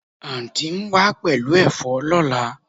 Anti n wa pelu efo lola